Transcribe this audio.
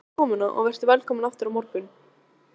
Takk fyrir komuna og vertu velkomin aftur á morgun.